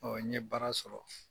Ɔɔ n ye baara sɔrɔ.